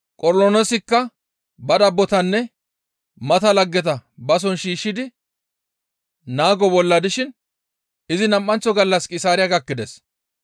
Qornoloosikka ba dabbotanne mata laggeta ba soon shiishshidi naago bolla dishin izi nam7anththo gallas Qisaariya gakkides.